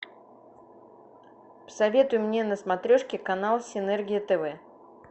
посоветуй мне на смотрешке канал синергия тв